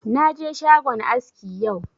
Na je shagon aski yau